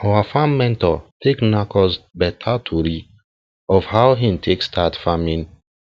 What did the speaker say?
our farm mentor tell knack us beta tori of how hin take start farming